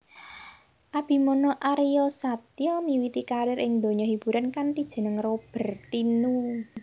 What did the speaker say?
Abimana Aryasatya miwiti karier ing donya hiburan kanthi jeneng Roberthino